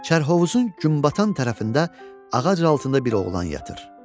Kərhovuzun günbatan tərəfində ağac altında bir oğlan yatır.